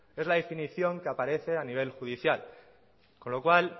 es la definición que aparece a nivel judicial con lo cual